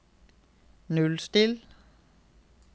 nullstill